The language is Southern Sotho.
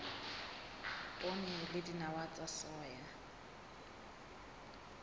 poone le dinawa tsa soya